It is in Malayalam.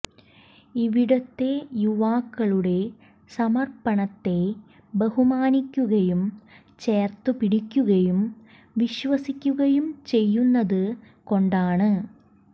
ഇവിടത്തെ യുവാക്കളുടെ സമർപ്പണത്തെ ബഹുമാനിക്കുകയും ചേർത്തു പിടിക്കുകയും വിശ്വസിക്കുകയും ചെയ്യുന്നതു കൊണ്ടാണ്